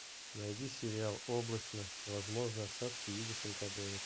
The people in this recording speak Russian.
найди сериал облачно возможны осадки в виде фрикаделек